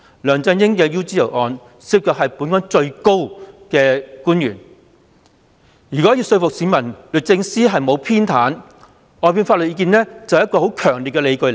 梁振英的 UGL 案件涉及本港最高層的官員，如要說服市民律政司沒有偏袒，外判法律意見便是很強烈的理據。